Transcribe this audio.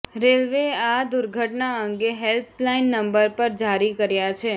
રેલવેએ આ દુર્ઘટના અંગે હેલ્પલાઇન નંબર પર જારી કર્યા છે